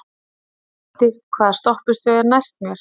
Neisti, hvaða stoppistöð er næst mér?